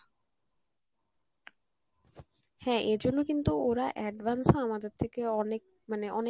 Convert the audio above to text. হ্যাঁ এজন্য কিন্তু ওরা advanced হয় আমাদের থেকে অনেক মানে